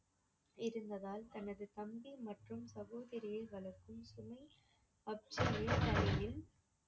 இருந்ததால் தனது தம்பி மற்றும் சகோதரியை வளர்க்கும் சுமை தலையில்